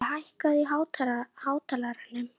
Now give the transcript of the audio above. Herdís, hvaða vikudagur er í dag?